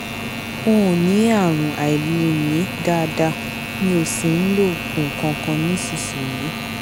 n ò ní àrùn àìlèmí dáadáa mi ò sì ń lo oògùn kankan nísinsìnyí